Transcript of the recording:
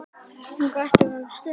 Hún grætur um stund.